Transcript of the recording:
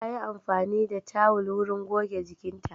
Ta yi amfani da tawul wurin goge jikinta.